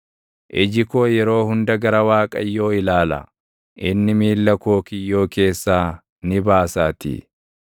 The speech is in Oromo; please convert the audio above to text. Iji koo yeroo hunda gara Waaqayyoo ilaala; inni miilla koo kiyyoo keessaa ni baasaatii.